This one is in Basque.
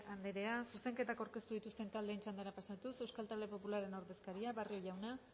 andrea zuzenketak aurkeztu dituztenen taldeen txandara pasatuz euskal talde popularraren ordezkaria barrio jauna